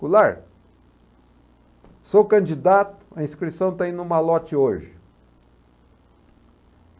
Goulart, sou candidato, a inscrição está indo malote hoje.